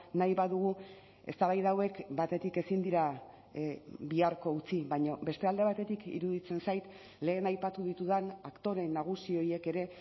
nahi badugu eztabaida hauek batetik ezin dira biharko utzi baina beste alde batetik iruditzen zait lehen aipatu ditudan aktore nagusi horiek ere